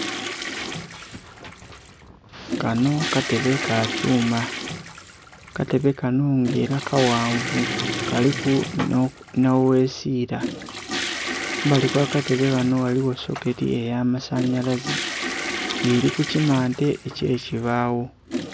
Kanho katebe kakyuma, katebe kanho nga era kaghanvu kaliku nhoghesira. Kumbali ogha katebe kanho ghaligho soketi eya masanhyalaze nga eri kukimante ekye kibagho.